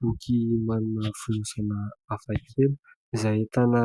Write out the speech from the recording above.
Boky manana fonosana hafa kely. Izay ahitana